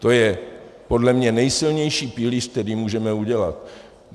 To je podle mě nejsilnější pilíř, který můžeme udělat.